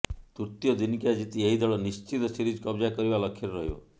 ତୃତୀୟ ଦିନିକିଆ ଜିତି ଏହି ଦଳ ନିଶ୍ଚିତ ସିରିଜ୍ କବଜା କରିବା ଲକ୍ଷ୍ୟରେ ରହିବ